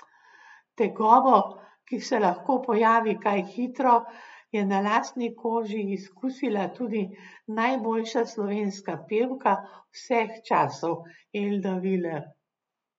Tegobo, ki se lahko pojavi kaj hitro, je na lastni koži izkusila tudi najboljša slovenska pevka vseh časov, Elda Viler.